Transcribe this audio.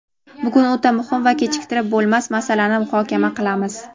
Bugun o‘ta muhim va kechiktirib bo‘lmas masalani muhokama qilamiz.